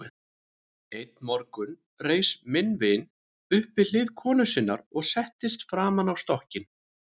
Einn morgun reis minn vin upp við hlið konu sinnar og settist framan á stokkinn.